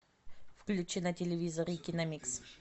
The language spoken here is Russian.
включи на телевизоре киномикс